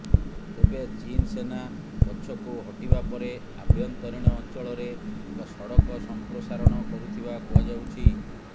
ତେବେ ଚୀନ୍ ସେନା ପଛକୁ ହଟିବା ପରେ ଆଭ୍ୟନ୍ତରୀଣ ଅଂଚଳରେ ଏକ ସଡ଼କ ସଂପ୍ରସାରଣ କରୁଥିବା କୁହାଯାଉଛି